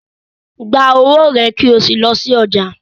Gba owó è kí o sí lọ sí ọjà.